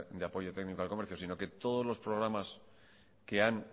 de apoyo técnico al comercio sino que todos los programas que han